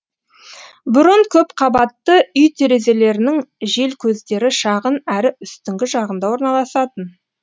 бұрын көпқабатты үй терезелерінің желкөздері шағын әрі үстіңгі жағында орналасатын